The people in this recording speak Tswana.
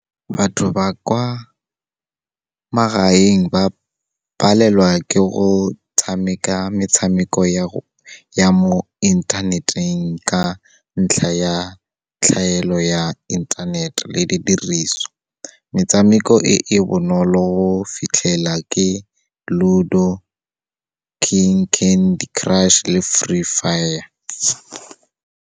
Batho ba kwa magaeng ba palelwa ke go tshameka metshameko ya mo inthaneteng, ka ntlha ya tlhaelo ya inthanete le di diriswa. Metshameko e, e bonolo go fitlhela ke Ludo, King Candy Crush le Free Fire.